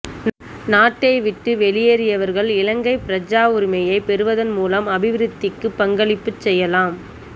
நாட்டை விட்டு வெளியேறியவர்கள் இலங்கைப் பிரஜாவுரிமையைப் பெறுவதன் மூலம் அபிவிருத்திக்குப் பங்களிப்புச் செய்யலாம்